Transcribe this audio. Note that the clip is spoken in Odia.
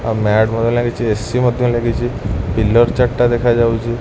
ଆଉ ମ୍ୟାଟ ମଧ୍ୟ ଲାଗିଚି ଏ_ସି ମଧ୍ୟ ଲାଗିଚି ପିଲର ଚାର ଟା ଦେଖାଯାଉଚି।